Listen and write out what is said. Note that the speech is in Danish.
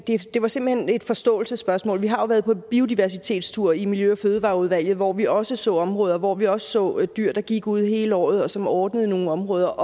det var simpelt hen et forståelsesspørgsmål vi har jo været på biodiversitetstur i miljø og fødevareudvalget hvor vi også så områder hvor vi også så dyr der gik ude hele året og som ordnede nogle områder